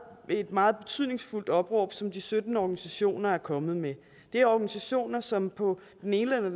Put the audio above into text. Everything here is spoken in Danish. et meget betydningsfuldt opråb som de sytten organisationer er kommet med det er organisationer som på den ene eller